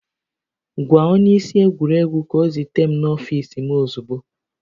Gwa onye isi egwuregwu ka ọ zute m n'ọfiisi m ozugbo